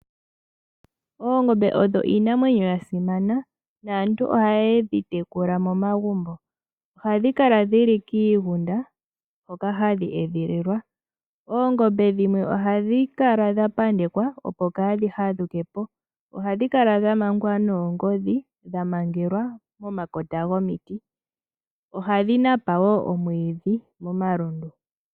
Oongombe odho iinamwenyo yasimana naantu ohaye dhi tekula momagumbo. Ohadhi kala dhili kiigunda hoka hadhi edhililwa. Oongombe dhimwe ohadhi kala dhapandekwa opo kaadhi hadhukepo . Ohadhi kala dha mangwa noongodhi dhamangelwa momakota gomiti. Ohadhi napa woo omwiidhi momalundu.